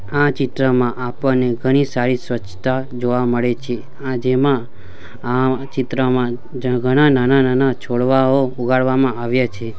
આ ચિત્રમાં આપણને ઘણી સારી સ્વચ્છતા જોવા મળે છે આ જેમાં આ ચિત્ર જ્યાં ઘણા નાના-નાના છોડવાઓ ઉગાડવામાં આવ્યા છે.